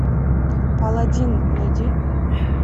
паладин найди